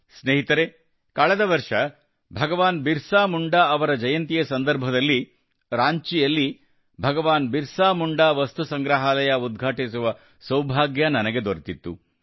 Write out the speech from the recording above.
ಸ್ನೇಹಿತರೇ ಕಳೆದ ವರ್ಷ ಭಗವಾನ್ ಬಿರ್ಸಾ ಮುಂಡಾ ಅವರ ಜಯಂತಿಯ ಸಂದರ್ಭದಲ್ಲಿ ರಾಂಚಿಯಲ್ಲಿ ಭಗವಾನ್ ಬಿರ್ಸಾ ಮುಂಡಾ ವಸ್ತು ಸಂಗ್ರಹಾಲಯ ಉದ್ಘಾಟಿಸುವ ಸೌಭಾಗ್ಯ ನನಗೆ ದೊರೆತಿತ್ತು